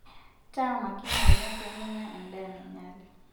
Taa makini oleng' pee minya endaa nainyale.